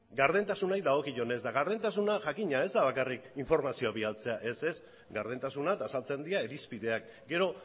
gardentasunari dagokionez eta gardentasuna jakina ez da bakarrik informazioa bidaltzea ez ez gardentasuna eta azaltzen dira irizpideak gero